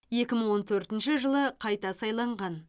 екі мың он төртінші жылы қайта сайланған